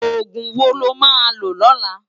Ógún wó lo má ló lòlá?